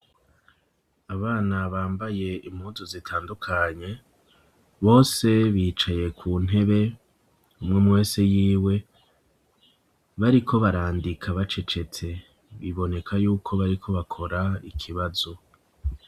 Abana bambaye impuzu zitandukanye, bose bicaye ku ntebe umwumwe wese yiwe, bariko barandika bacecetse, biboneka yuko bariko bakora ikibazo.